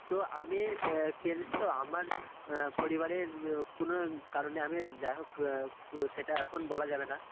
তো আমি অ্যাঁ কি জানিস তো আমার অ্যাঁ পরিবারের অ্যাঁ কুনো কারণে আমি যাই হোক অ্যাঁ তো সেটা এখন বলা যাবে না